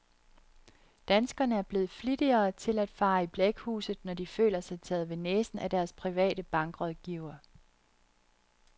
Danskerne er blevet flittigere til at fare i blækhuset når de føler sig taget ved næsen af deres private bankrådgiver.